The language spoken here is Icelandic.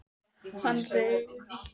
Hann reis á fætur og spurði hana einhvers.